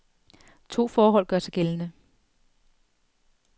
To forhold gør sig gældende.